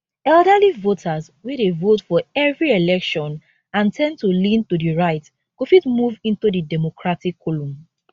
elderly voters wey dey vote for every election and ten d to lean to di right go fit move into di democratic column